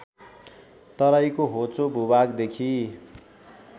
तराईको होचो भूभागदेखि